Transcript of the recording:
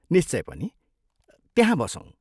निश्चय पनि! त्यहाँ बसौँ।